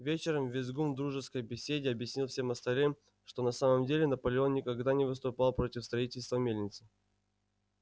вечером визгун в дружеской беседе объяснил всем остальным что на самом деле наполеон никогда не выступал против строительства мельницы